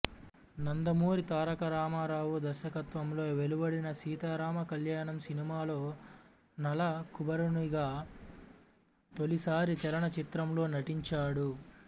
నందమూరి తారకరామారావు దర్శకత్వంలో వెలువడిన సీతారామ కళ్యాణం సినిమాలో నలకూబరునిగా తొలిసారి చలనచిత్రంలో నటించాడు